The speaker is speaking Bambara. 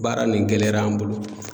Baara nin gɛlɛyara an bolo